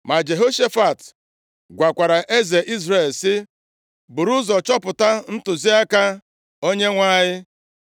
Ma Jehoshafat gwakwara eze Izrel, sị, “Buru ụzọ chọpụta ntụziaka Onyenwe anyị.”